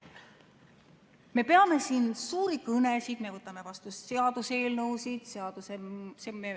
Me peame siin suuri kõnesid, me võtame vastu seaduseelnõusid.